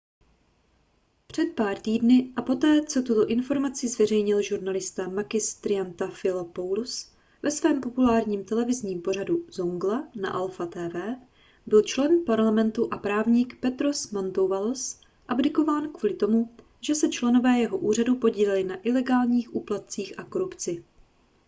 před pár týdny a poté co tuto informaci zveřejnil žurnalista makis triantafylopoulos ve svém populárním televizním pořadu zoungla na alpha tv byl člen parlamentu a právník petros mantouvalos abdikován kvůli tomu že se členové jeho úřadu podíleli na ilegálních úplatcích a korupci